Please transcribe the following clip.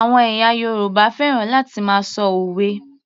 Àwọn ẹ̀yà Yorùbá fẹ́ràn láti máa ṣọ òwe